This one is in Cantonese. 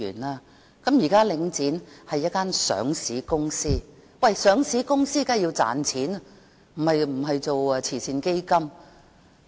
現時，領展是一間上市公司，上市公司當然要賺錢，而不是做慈善基金。